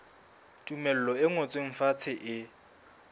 tumello e ngotsweng fatshe e